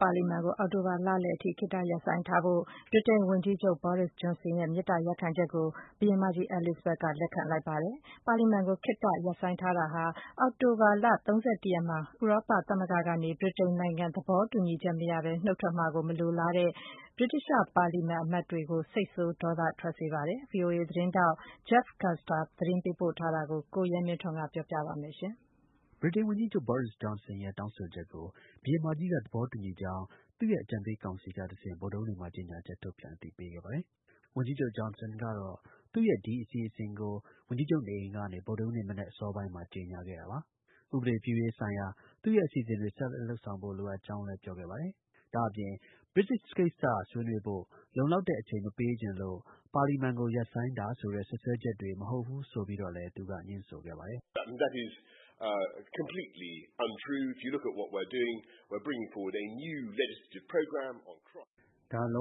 ပါလီမန်ကို အောက်တိုဘာ လလယ်အထိ ခေတ္တ ရပ်ဆိုင်းထားဖို့ ဗြိတိန် ဝန်ကြီးချုပ် Boris Johnson ရဲ့ မေတ္တာရပ်ခံချက်ကို ဘုရင်မကြီး Elizabeth က လက်ခံလိုက်ပါတယ်။ ဒီလို ပါလီမန်ကို ခေတ္တ ရပ်ဆိုင်းထားမှုဟာ အောက်တိုဘာလ ၃၁ ရက်နေ့မှာ ဗြိတိန်နိုင်ငံ ဥရောပ သမဂ္ဂကနေ သဘောတူညီချက် မရရှိဘဲ နုတ်ထွက်မှာကို မလိုလားတဲ့ ဗြိတိသျှ ပါလီမန် အမတ်တွေကို စိတ်ဆိုး ဒေါသထွက်စေ ပါတယ်။ ဗွီအိုအေ သတင်းထောက် Jeff Custer သတင်းပေးပို့ထားတာကို ကိုရဲမင်းထွန်းက တင်ပြပေးပါမယ်။ ဗြိတိန် ဝန်ကြီးချုပ် Boris Johnson ရဲ့ တောင်းဆိုချက်ကို ဘုရင်မကြီးက သဘောတူညီကြောင်း သူ့ရဲ့ အကြံပေး ကောင်စီ ကတစ်ဆင့် ဗုဒ္ဓဟူးနေ့မှာ ကြေညာချက် ထုတ်ပြန် အသိပေးခဲ့ပါတယ်။ ဝန်ကြီးချုပ် Johnson ကတော့ သူ့ရဲ့ ဒီ အစီအစဉ်ကို ဝန်ကြီးချုပ် နေအိမ်ကနေ ဗုဒ္ဓဟူးနေ့ မနက် အစောပိုင်းမှာ ကြေညာခဲ့တာပါ။ ဥပဒေပြုရေး ဆိုင်ရာ သူ့ရဲ့အစီအစဉ်တွေ ဆက်လက် လုပ်ဆောင်ဖို့ လိုအပ်ကြောင်း ပြောခဲ့ပါတယ်။ ဒါ့အပြင် Brexit ကိစ္စ ဆွေးနွေးဖို့ လုံလောက်တဲ့ အချိန် မပေးချင်လို့ ပါလီမန်ကို ရပ်ဆိုင်းတာ ဆိုတဲ့ စွပ်စွဲချက်တွေ မဟုတ်ဘူးဆိုပြီးလည်း ငြင်းဆိုခဲ့ပါတယ်။ “ ဒါ လုံး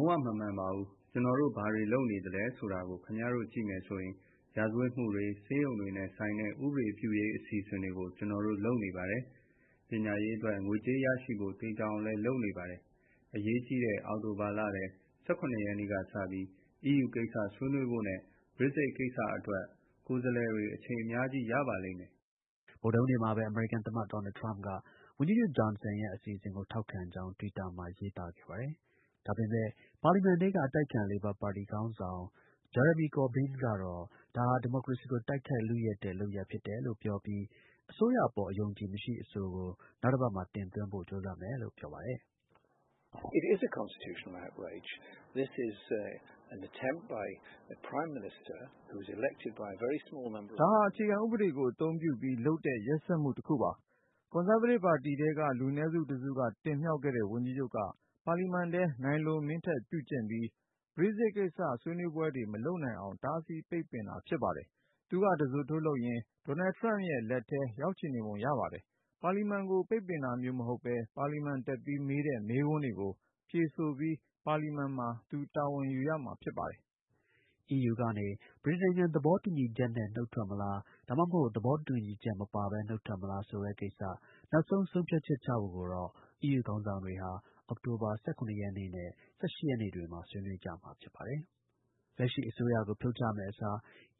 ဝမမှန်ပါဘူး။ ကျွန်တော်တို့ ဘာတွေလုပ်နေသ လဲဆိုတာကို ခင်ဗျားတို့ကြည့်မယ်ဆိုရင် ရာဇဝတ်မှုတွေ၊ ဆေးရုံတွေနဲ့ဆိုင်တဲ့ ဥပဒေပြုရေး အစီအစဉ်တွေကို ကျွန်တော်တို့ လုပ်နေပါတယ်။ ပညာရေးအတွက် ငွေကြေး ရရှိဖို့ သေချာအောင်လည်း လုပ်နေပါတယ်။ အရေးကြီးတဲ့ အောက်တိုဘာလထဲ ၁၇ ရက်နေ့ကစပြီး EU ကိစ္စ ဆွေးနွေးဖို့နဲ့ Brexit ကိစ္စအတွက် ကိုယ်စားလှယ်တွေ အချိန် အများကြီး ရကြပါလိမ့်မယ်။ ” ဗုဒ္ဓဟူးနေ့မှာပဲ အမေရိကန် သမ္မတ ဒေါ်နယ် ထရမ့်က ဝန်ကြီးချုပ် Johnson ရဲ့ အစီအစဉ်ကို ထောက်ခံကြောင်း တွစ်တာမှာ ရေးသား ခဲ့ပါတယ်။ ဒါပေမဲ့ ပါလီမန်ထဲက အတိုက်အခံ လေဘာပါတီ ခေါင်းဆောင် Jeramy Corbyn ကတော့ ဒါဟာ ဒီမိုကရေစီကို တိုက်ခိုက် လုယက်တဲ့ လုပ်ရပ်ဖြစ်တယ်လို့ ပြောပြီး အစိုးရအပေါ် အယုံအကြည် မရှိအဆိုကို နောက်တစ်ပတ်မှာ တင်သွင်းဖို့ ကြိုးစားမယ်လို့ ပြောပါတယ်။ “ ဒါဟာ အခြေခံဥပဒေကို အသုံးပြုပြီး လုပ်တဲ့ ရက်စက်မှုတစ်ခုပါ။ ကွန်ဆားဗေးတစ် ပါတီထဲက လူနည်းစု တစ်စုက တင်မြှောက်ခဲ့တဲ့ ဝန်ကြီးချုပ်က ပါလီမန်ထဲ နို်င်လိုမင်းထက် ပြုကျင့်ပြီး Brexit ကိစ္စ ဆွေးနွေးပွဲတွေ မလုပ်နိုင်အောင် တားဆီးပိတ်ပင်တာ ဖြစ်ပါတယ်။ သူက တဇွတ်ထိုး လုပ်ရင်း ဒေါ်နယ်ထရမ့်ရဲ့လက်ထဲ ရောက်ချင်ပုံရပါတယ်။ ပါလီမန်ကို ပိတ်တာမျိုး မဟုတ်ဘဲ ပါလီမန်တက်ပြီး မေးတဲ့ မေးခွန်းတွေကို ဖြေဆိုပြီး ပါလီမန်မှာ သူတာဝန်ယူရမှာ ဖြစ်ပါတယ်။” ဗြိတိန်နိုင်ငံ သဘောတူညီချက်နဲ့နုတ်ထွက်မလား ဒါမှမဟုတ် သဘောတူညီချက် မပါဘဲ နုတ်ထွက်မလား ဆိုတဲ့ကိစ္စ နောက်ဆုံး ဆုံးဖြတ်ချက်ချဖို့ EU ခေါင်းဆောင်တွေက အောက်တိုဘာ ၁၇ ရက်နဲ့ ၁၈ ရက်နေ့တွေမှာ ဆွေးနွေးမှာ ဖြစ်ပါတယ်။ လက်ရှိ အစိုးရကို ဖြုတ်ချမယ့်အစား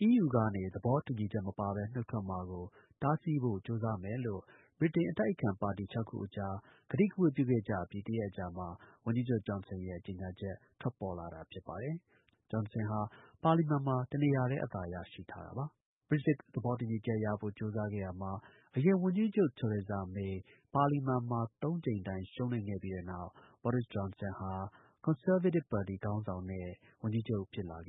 EU ကနေ သဘောတူညီချက် မပါဘဲ နုတ်ထွက်မှာကို တားဆီးဖို့ ကြိုးစားမယ်လို့ ဗြိတိန် အတိုက် အခံပါတီ ၆ ခု အကြား ကတိကဝတ်ပြုခဲ့ကြအပြီး ၁ရက်အကြာမှာ ဝန်ကြီးချုပ် Johnson ရဲ့ ကြေညာချက် ထွက်ပေါ်လာတာဖြစ်ပါတယ်။ Johnson ဟာ ပါလီမန်မှာ တစ်နေရာတည်း အသာရထားတာပါ။ Brexit သဘောတူညီချက်ရဖို့ ကြိုးစားခဲ့ရာမှာ အရင် ဝန်ကြီးချုုပ် Teresa May ပါလီမန်မှာ ၃ ကြိမ်တိုင် ရှုံးနိမ့်ခဲ့ပြီးတဲ့နောက် Boris Johnson ဟာ ကွန်ဆားဗေးတစ်ပါတီ ခေါင်းဆောင်နဲ့ ဝန်ကြီးချုပ် ဖြစ်လာခဲ့